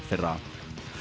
fyrra